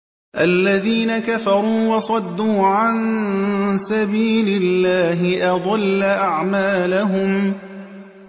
الَّذِينَ كَفَرُوا وَصَدُّوا عَن سَبِيلِ اللَّهِ أَضَلَّ أَعْمَالَهُمْ